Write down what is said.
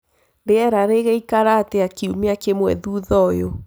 rĩera rĩgaĩkara atĩa kĩũma kĩmwe thũthaũyũ